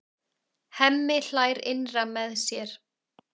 Hemmi hlær innra með sér.